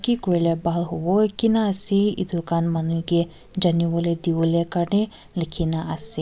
ki kurilae bhal howo kina ase edu khan manu kae janiwolae diwo karni likhina ase.